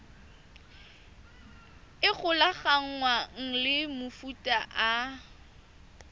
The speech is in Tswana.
e golaganngwang le mofuta o